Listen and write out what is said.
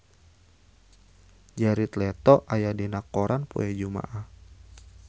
Jared Leto aya dina koran poe Jumaah